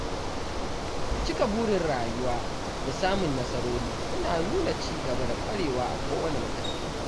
Cika burin rayuwa da samun nasarori yana nuna ci gaba da kwarewa a kowane mataki.